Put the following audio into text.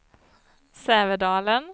Sävedalen